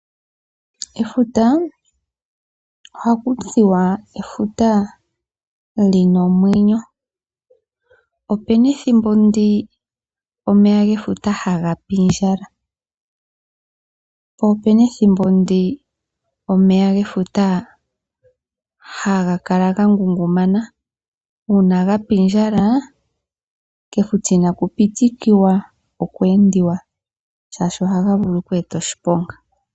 Efuta ohaku tiwa efuta lyina omwenyo. Opena ethimbo ndi omeya gefuta hagapindjala, po opena ethimbo ndyoka omeya gefuta haga kala gangungumana. Uuna gapindjala kefuta inaku pitikiwa oku endiwa oshoka ohaga vulu oku eta oshiponga.